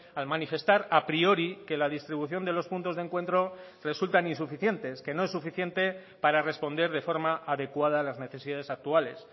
al manifestar a priori que la distribución de los puntos de encuentro resultan insuficientes que no es suficiente para responder de forma adecuada a las necesidades actuales